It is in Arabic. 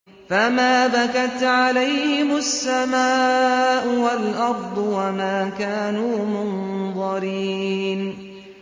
فَمَا بَكَتْ عَلَيْهِمُ السَّمَاءُ وَالْأَرْضُ وَمَا كَانُوا مُنظَرِينَ